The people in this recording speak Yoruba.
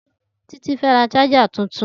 Titi fẹ́ rà ṣàjà tútún